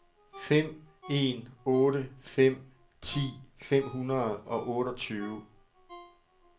fem en otte fem ti fem hundrede og otteogtyve